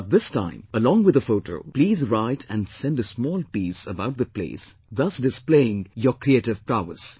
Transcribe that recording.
But this time, along with a photo, please write and send a small piece about the place, thus displaying your creative prowess